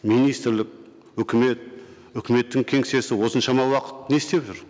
министрлік үкімет үкіметтің кеңсесі осыншама уақыт не істеп жүр